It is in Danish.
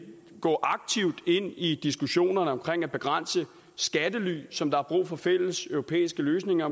gå aktivt ind i diskussionerne omkring at begrænse brugen af skattely som der er brug for fælles europæiske løsninger